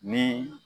Ni